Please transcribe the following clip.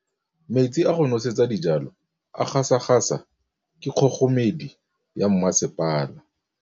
Metsi a go nosetsa dijalo a gasa gasa ke kgogomedi ya masepala.